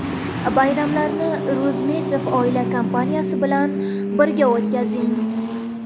Bayramlarni Rozmetov oilaviy kompaniyasi bilan birga o‘tkazing.